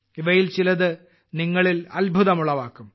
ഇവയിൽ ചിലത് നിങ്ങളിൽ അത്ഭുതം ഉളവാക്കും